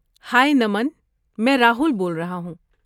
ہائے، نمن! میں راہل بول رہا ہوں۔